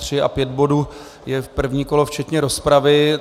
Tři a pět bodů je první kolo včetně rozpravy.